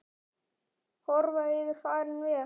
Horfa yfir farinn veg.